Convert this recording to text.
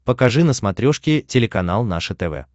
покажи на смотрешке телеканал наше тв